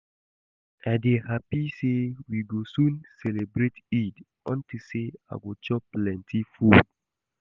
I dey happy say we go soon celebrate Eid unto say I go chop plenty food